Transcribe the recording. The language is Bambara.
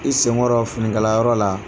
I senkɔrɔ finikalayɔrɔ la